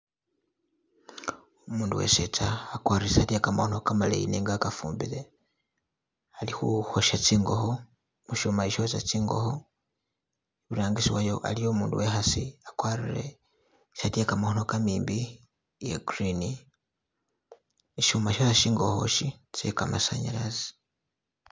Umundu wesetsa agwarile isaati yegamakhono maleyi nenga wagafumbile ali kukosha zingokho kuchuma chi kyocha zingokho iburangisi wayo iliyo umukhasi agwarile saati ye gamakhono gamimbi iya green shuma shosha zingokho chi chegamasanyalaze.